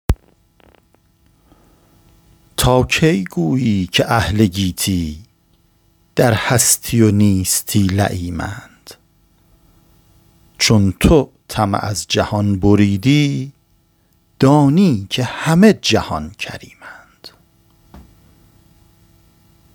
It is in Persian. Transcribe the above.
تا کی گویی که اهل گیتی در هستی و نیستی لییمند چون تو طمع از جهان بریدی دانی که همه جهان کریمند